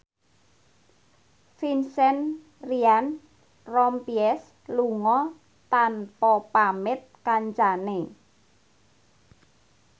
Vincent Ryan Rompies lunga tanpa pamit kancane